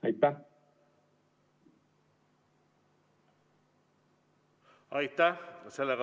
Aitäh!